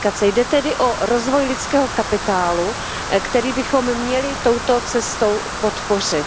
Jde tedy o rozvoj lidského kapitálu, který bychom měli touto cestou podpořit.